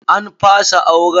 An fasa auren.